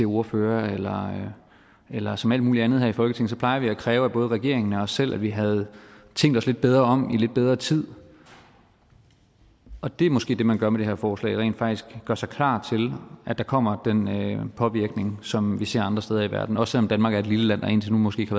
ordfører eller som alt muligt andet her i folketinget plejer vi at kræve af både regeringen og os selv at vi havde tænkt os lidt bedre om i lidt bedre tid og det er måske det man gør med det her forslag altså rent faktisk gør sig klar til at der kommer den påvirkning som vi ser andre steder i verden også selv om danmark er et lille land og indtil nu måske ikke